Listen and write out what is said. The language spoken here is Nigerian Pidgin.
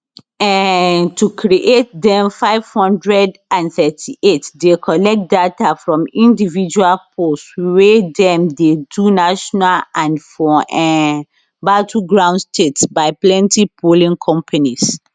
um to create dem 538 dey collect data from individual polls wey dem dey do nationally and for um battleground states by plenti polling companies